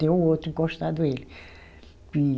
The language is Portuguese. Tem o outro encostado ele.